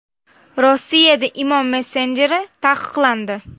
Rossiyada Imo messenjeri taqiqlandi.